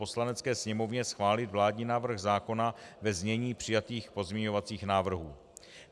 Poslanecké sněmovně schválit vládní návrh zákona ve znění přijatých pozměňovacích návrhů.